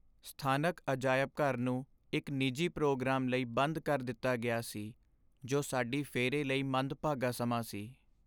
ਸਥਾਨਕ ਅਜਾਇਬ ਘਰ ਨੂੰ ਇੱਕ ਨਿੱਜੀ ਪ੍ਰੋਗਰਾਮ ਲਈ ਬੰਦ ਕਰ ਦਿੱਤਾ ਗਿਆ ਸੀ, ਜੋ ਸਾਡੀ ਫੇਰੀ ਲਈ ਮੰਦਭਾਗਾ ਸਮਾਂ ਸੀ।